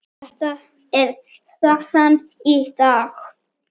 Þetta er staðan í dag.